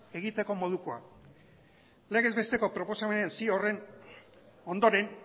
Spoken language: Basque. egiteko modukoa mesedez isiltasuna legez besteko proposamen zio horren ondoren